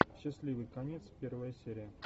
счастливый конец первая серия